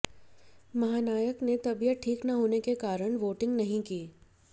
महानायक ने तबीयत ठीक ना होने के कारण वोटिंग नहीं की